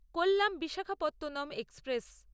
Kollam Visakhapatnam express